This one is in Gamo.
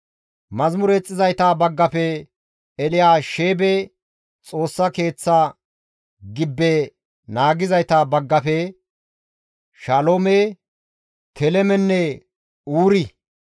Yeththa yexxizayta baggafe, Elyaasheebe Xoossa Keeththa gibbe naagizayta baggafe, Shaloome, Telemenne Uuri;